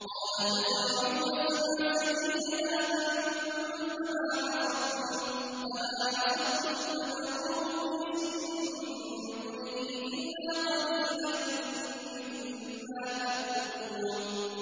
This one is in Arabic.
قَالَ تَزْرَعُونَ سَبْعَ سِنِينَ دَأَبًا فَمَا حَصَدتُّمْ فَذَرُوهُ فِي سُنبُلِهِ إِلَّا قَلِيلًا مِّمَّا تَأْكُلُونَ